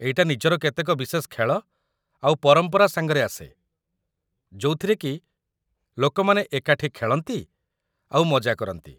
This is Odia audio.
ଏଇଟା ନିଜର କେତେକ ବିଶେଷ ଖେଳ ଆଉ ପରମ୍ପରା ସାଙ୍ଗରେ ଆସେ, ଯୋଉଥିରେକି ଲୋକମାନେ ଏକାଠି ଖେଳନ୍ତି ଆଉ ମଜା କରନ୍ତି ।